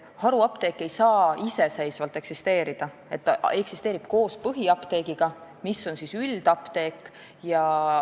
Haruapteek ei saa iseseisvalt eksisteerida, ta eksisteerib koos põhiapteegiga, mis on üldapteek.